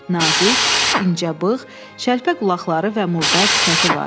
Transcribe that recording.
Nazik, incəbığ, şəlpəqulaqları və murdar sifəti var.